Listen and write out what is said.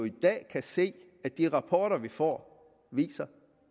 i dag se af de rapporter vi får